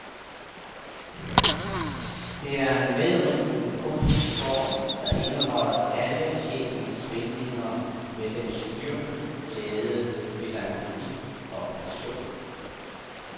Det er en medrivende kunstform, der indeholder alle sjælens svingninger med dens styrke, glæde, melankoli og passion.